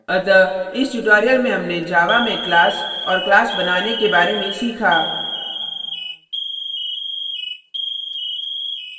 अतः इस tutorial में हमने java में class और class बनाने के बारे में सीखा